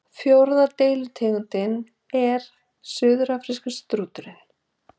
fjórða deilitegundin er suðurafríski strúturinn